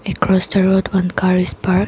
across the road one car is park.